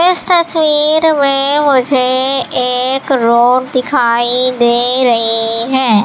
इस तस्वीर में मुझे एक रोड दिखाई दे रही है।